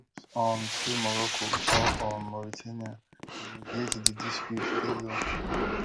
hopes um say morocco or um mauritania go mediate di dispute dey low